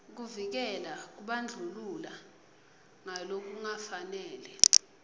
kuvikela kubandlulula ngalokungafanele